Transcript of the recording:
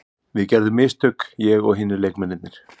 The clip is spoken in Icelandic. Við gerðum mistök, ég og hinir leikmennirnir.